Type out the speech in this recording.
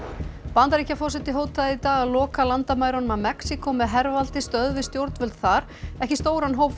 Bandaríkjaforseti hótaði í dag að loka landamærunum að Mexíkó með hervaldi stöðvi stjórnvöld þar ekki stóran hóp